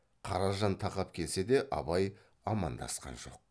қаражан тақап келсе де абай амандасқан жоқ